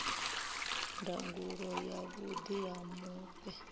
ndangulo ya vhuḓi ha mufhe